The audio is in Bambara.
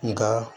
Nka